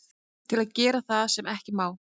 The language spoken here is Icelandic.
Til að gera það sem ekki má.